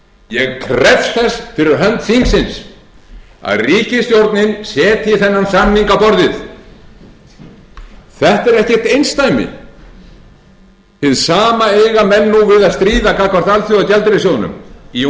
ég krefst þess fyrir hönd þingsins að ríkisstjórnin setji þennan samning á borðið þetta er ekkert einsdæmi hið sama eiga menn nú við að stríða gagnvart alþjóðagjaldeyrissjóðnum í